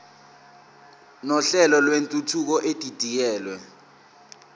nohlelo lwentuthuko edidiyelwe